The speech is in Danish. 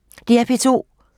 DR P2